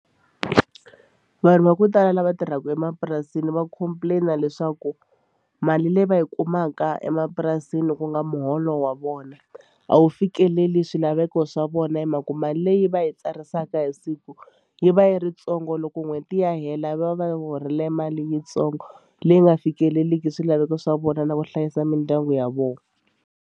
Vanhu va ku tala lava tirhaka emapurasini va complain-a leswaku mali leyi va yi kumaka emapurasini ku nga muholo wa vona a wu fikeleli swilaveko swa vona vona hi mhaka ku mali leyi va yi tsarisaka hi siku yi va yi ri ntsongo loko n'hweti ya hela va va horile mali yitsongo leyi nga fikeleliki swilaveko swa vona na ku hlayisa mindyangu ya vona.